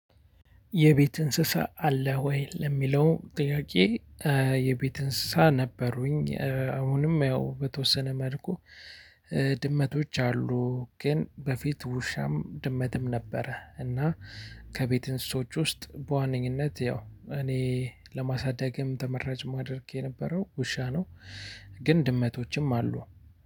የቤት እንስሳ አለ ወይ ለሚለው ጥያቄ? የቤት እንስሳ ነበሩኝ አሁንም ያው በተወሰነ መልኩ። ድመቶች አሉ ግን በፊት ውሻም ድመትም ነበረ እና። ከቤት እንስሶች ውስጥ በዋነኝነት ያው እኔ ለማሳደግም ተመራጭ ማድረግ የነበረው ውሻ ነው። ግን ድመቶችም አሉ።